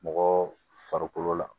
Mɔgɔ farikolo la